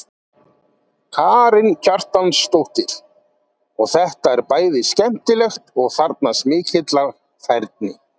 Karen Kjartansdóttir: Og þetta er bæði skemmtilegt og þarfnast mikillar færni?